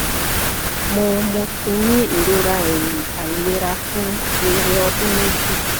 mo mo ti ní irora ẹhin ailera fun fere ọdun meji